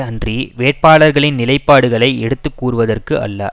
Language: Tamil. அன்றி வேட்பாளர்களின் நிலைப்பாடுகளை எடுத்து கூறுவதற்கு அல்ல